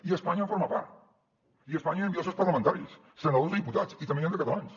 i espanya en forma part i espanya hi envia els seus parlamentaris senadors i diputats i també n’hi han de catalans